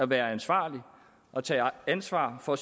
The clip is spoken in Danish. være ansvarlig og tage ansvar for